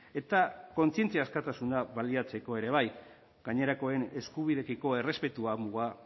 eta kontzientzia askatasuna baliatzeko ere bai gainerakoen eskubideekiko errespetua muga